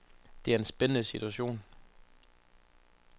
Det er en spændende situation.